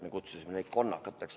Me kutsusime neid konnakateks.